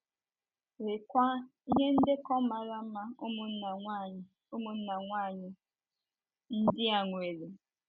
Leekwa, ihe ndekọ mara mma ụmụnna nwanyị ụmụnna nwanyị ndị a nwere!